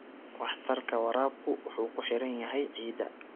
Waxtarka waraabku wuxuu ku xiran yahay ciidda.